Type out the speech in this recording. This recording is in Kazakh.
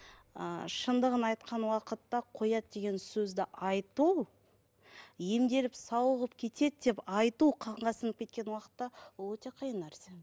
ыыы шындығын айтқан уақытта қояды деген сөзді айту емделіп сауығып кетеді деп айту қанға сіңіп кеткен уақытта ол өте қиын нәрсе